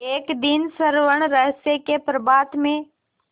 एक दिन स्वर्णरहस्य के प्रभात में